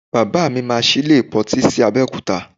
Baba mi máa sí ilé ìpọntí sí Abẹ́òkúta